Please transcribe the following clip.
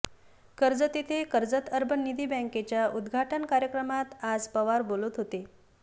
कर्जत येथे कर्जत अर्बन निधी बॅंकेच्या उदघाटन कार्यक्रमात आज पवार बोलत होते